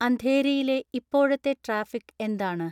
അന്ധേരിയിലെ ഇപ്പോഴത്തെ ട്രാഫിക് എന്താണ്